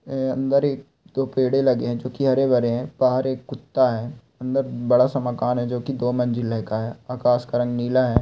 ए अंदर एक दो पेड़े लगे हैं जो की हरे भरें हैं बाहर एक कुत्ता है अंदर बड़ा सा मकान है जो की दो मंजिल है का है आकाश का रंग नीला है।